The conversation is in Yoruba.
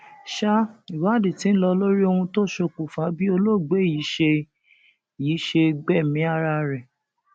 sa ìwádìí tí ń lọ lórí ohun tó ṣokùnfà bí olóògbé yìí ṣe yìí ṣe gbẹmí ara ẹ